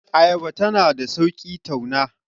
ayaba tana da sauki tauna